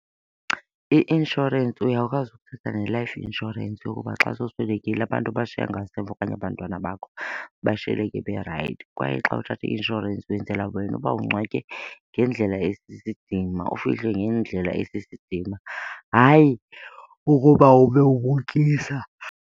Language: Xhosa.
I-inshorensi uyakwazi ukuthatha ne-life insurance yokuba xa sowuswekile abantu obashiya ngasemva okanye abantwana bakho bashiyeke berayithi. Kwaye xa uthatha i-inshorensi wenzela wena uba ungcwatywe ngendlela esisidima ufihlwe ngendlela esisidima, hayi ukuba ube ubukisa.